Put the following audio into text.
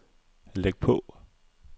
læg på